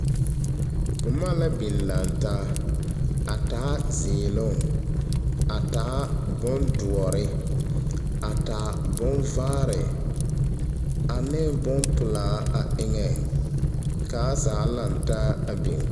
Boma la biŋ lantaa, a taa zeeloŋ, a taa bondoɔre, a taa bonvaare, ane bompelaa a eŋɛŋ ka a zaa lantaa a biŋ.